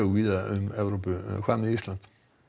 víða um Evrópu en hvað með Ísland